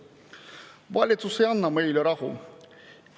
Valitsus ei anna meile rahu.